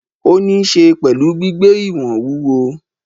Ó ni ín se pẹ̀lú gbígbé ìwọ̀n wúwo.